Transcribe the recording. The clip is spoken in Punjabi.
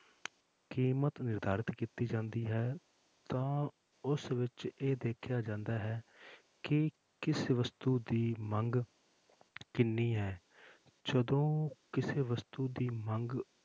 ਕੀਮਤ ਨਿਰਧਾਰਤਿ ਕੀਤੀ ਜਾਂਦੀ ਹੈ ਤਾਂ ਉਸ ਵਿੱਚ ਇਹ ਦੇਖਿਆ ਜਾਂਦਾ ਹੈ ਕਿ ਕਿਸ ਵਸਤੂ ਦੀ ਮੰਗ ਕਿੰਨੀ ਹੈ ਜਦੋਂ ਕਿਸੇ ਵਸਤੂ ਦੀ ਮੰਗ